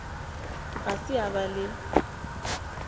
ga se a ba le